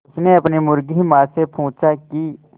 उसने अपनी मुर्गी माँ से पूछा की